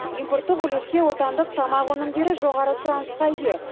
импорттық үлесте отандық тамақ өнімдері жоғары сұранысқа ие